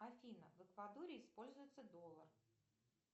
афина в эквадоре используется доллар